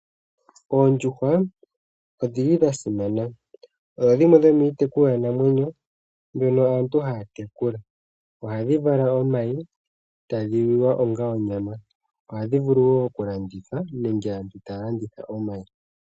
Oondjuhwa odhili dhasima, odho dhimwe dhomiitekulwa namwenyo ndjono aantu haatekula ohadhi vala omayi etadhi liwa onga onyama. Ohadhi vulu woo okulandithwa nenge aantu taalanditha omayi.